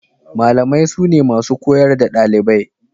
Malamai sune masu koyar da ɗalibai.